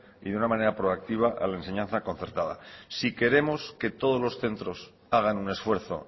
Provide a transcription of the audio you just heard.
y de una manera proactiva a la enseñanza concertada si queremos que todos los centros hagan un esfuerzo